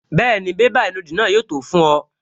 Bẹ́ẹ̀ni, bébà ìnùdí náà yóò tó fún ọ